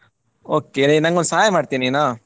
Okay ನಂಗೊಂದು ಸಹಾಯ ಮಾಡ್ತಿಯಾ ನೀನು?